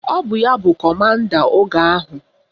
Ọ bụ ya bụ kọmanda oge ahụ